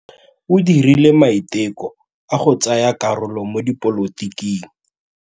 O dirile maitekô a go tsaya karolo mo dipolotiking.